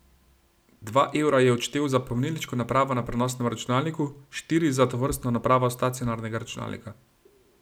Dva evra je odštel za pomnilniško napravo na prenosnem računalniku, štiri za tovrstno napravo stacionarnega računalnika.